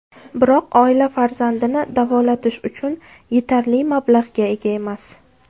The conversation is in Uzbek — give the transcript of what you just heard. Biroq oila farzandini davolatish uchun yetarli mablag‘ga ega emas.